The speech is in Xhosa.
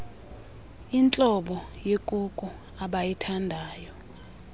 intlobo yekuku abayithandayo